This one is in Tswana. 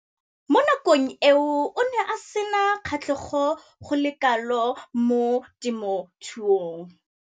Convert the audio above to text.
Mo nakong eo o ne a sena kgatlhego go le kalo mo temothuong.